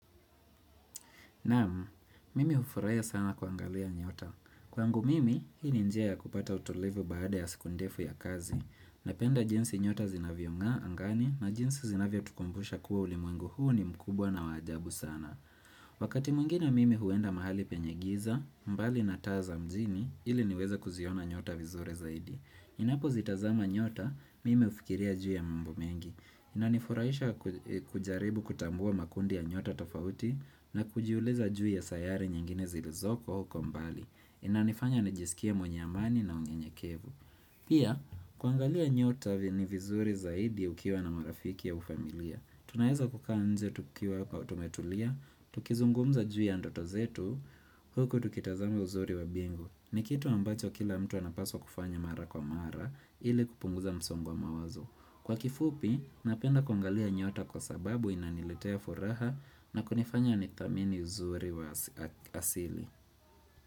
Nam, mimi hufurahia sana kuangalia nyota. Kwangu mimi, hii ni njia ya kupata utulivu baada ya siku ndefu ya kazi, napenda jinsi nyota zinavyongaa angani na jinsi zinavyotukumbusha kuwa ulimwengu huu ni mkubwa na wa ajabu sana. Wakati mwingina mimi huenda mahali penye giza, mbali na taa za mjini, ili niweze kuziona nyota vizuri zaidi. Ninapozitazama nyota, mimi hufikiria juu ya mambo mengi. Inanifurahisha kujaribu kutambua makundi ya nyota tofauti na kujiuliza juu ya sayari nyingine zilizoko huko mbali. Inanifanya nijisikia mwenye amani na unyenyekevu. Pia, kuangalia nyota ni vizuri zaidi ukiwa na marafiki au familia. Tunaeza kukaa nje tukiwa kwa tumetulia, tukizungumza juu ya ndoto zetu, huku tukitazama uzuri wa bingu. Ni kitu ambacho kila mtu anapaswa kufanya mara kwa mara ili kupunguza msongo wa mawazo. Kwa kifupi, napenda kuangalia nyota kwa sababu inaniletea furaha na kunifanya nithamini uzuri wa asili.